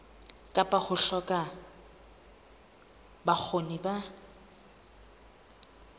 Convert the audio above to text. kapa ho hloka bokgoni ba